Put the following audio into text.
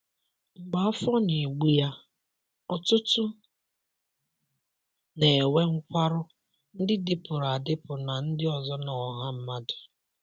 Mgbe afọ na-egbu ya, ọtụtụ na-enwe nkwarụ, ndị dịpụrụ adịpụ na ndị ọzọ na ọha mmadụ.